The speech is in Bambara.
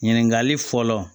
Ɲininkali fɔlɔ